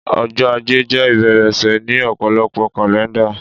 ọjọ ajé jé ìbẹ̀rẹ̀ ọ̀sẹ̀ ni òpòlopo kàlẹ́ndà